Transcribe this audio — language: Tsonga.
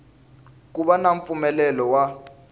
ku va na mpfumelelo wa